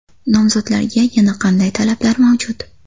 Nomzodlarga yana qanday talablar mavjud?